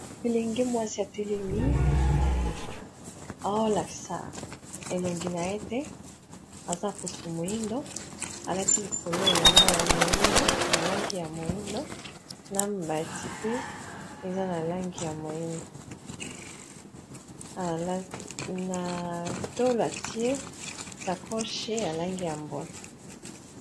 Elenge mwasi atelemi oalakisa elongi na ye te aza poso moyindo alati likolo elamba ya langi ya moyindo na mbati pe eza na langi ya moyindo natolo atie sacoche ya langi ya mbwe.